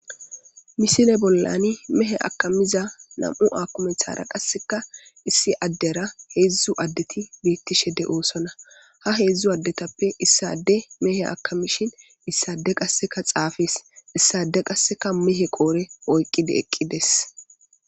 Misile bollani mehe akamiza nam'u akumetara qasseka issi addera heedzdzu addeti beettishe de'oosonna ha heedzdzu addetappe issade mehe akamishin issade qasseka xaafees issade qasseka mehe qoodhe oyqqidi eqqides.